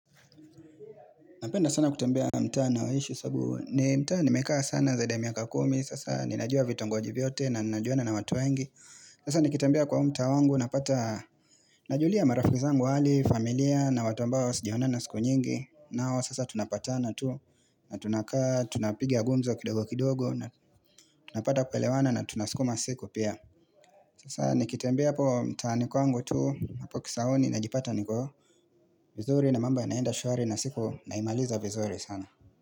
Napenda sana kutembea mtaa ninaoishi sababu ni mtaa nimekaa sana zaidi ya miaka kumi sasa ninajua vitongoji vyote na ninajuana watu wengi Sasa nikitembea kwa huu mta wangu na pata najulia marafiki zangu hali, familia na watu ambao sijionana na siku nyingi nao sasa tunapatana tu na tunakaa tunapiga gumzo kidogo kidogo na tunapata kuelewana na tunaskuma siku pia Sasa nikitembea hapo mtaani kwangu tu hapo kisaoni najipata niko vizuri na mambo yanaenda shuari na siku na imaliza vizuri sana.